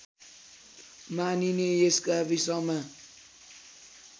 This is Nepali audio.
मानिने यस गाविसमा